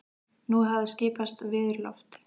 Nú hafði skipast veður í lofti.